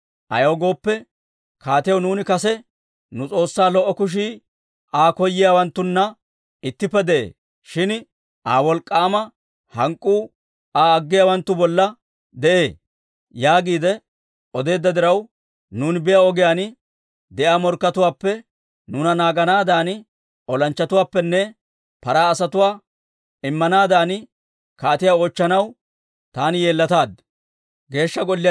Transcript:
Ayaw gooppe, kaatiyaw nuuni kase, «Nu S'oossaa lo"o kushii Aa koyiyaawanttuna ittippe de'ee; shin Aa wolk'k'aama hank'k'uu Aa aggiyaawanttu bollan de'ee» yaagiide odeedda diraw, nuuni biyaa ogiyaan de'iyaa morkkatuwaappe nuuna naaganaadan olanchchatuwaanne paraa asatuwaa immanaadan kaatiyaa oochchanaw taani yeellataad.